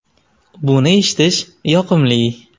Buni eshitish yoqimli.